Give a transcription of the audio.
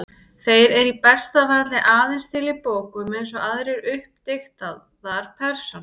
Þeir eru í besta falli aðeins til í bókum, eins og aðrar uppdiktaðar persónur.